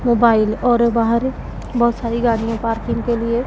mobile और बाहर बहोत सारी गाड़ियां पार्किंग के लिए--